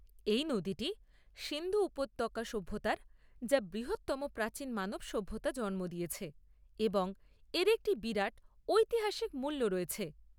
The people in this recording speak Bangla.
এই নদীটি সিন্ধু উপত্যকা সভ্যতার, যা বৃহত্তম প্রাচীন মানব সভ্যতা, জন্ম দিয়েছে এবং এর একটি বিরাট ঐতিহাসিক মূল্য রয়েছে।